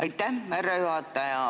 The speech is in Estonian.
Aitäh, härra juhataja!